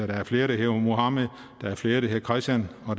der er flere der hedder muhammed flere der hedder christian og